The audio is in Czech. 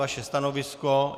Vaše stanovisko?